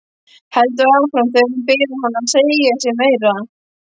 Heldur áfram þegar hún biður hann að segja sér meira.